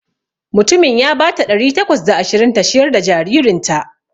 Mutumin ya bata ɗari takwas da ashirin ta ciyar da jaririnta.